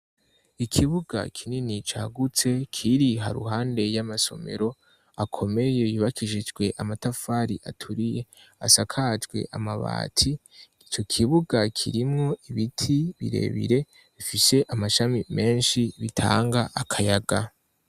ikibuga kinini cagutse kiri haruhande y'amasomero akomeye yubakisijwe amatafari aturiye asakajwe amabati ico kibuga kirimwo ibiti birebire bifise amashami menshi bitanga akayaga